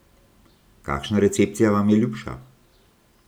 Kakšna recepcija vam je ljubša?